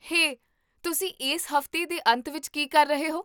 ਹੇ, ਤੁਸੀਂ ਇਸ ਹਫ਼ਤੇ ਦੇ ਅੰਤ ਵਿੱਚ ਕੀ ਕਰ ਰਹੇ ਹੋ?